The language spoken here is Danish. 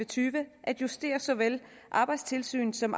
tyve at justere såvel arbejdstilsyns som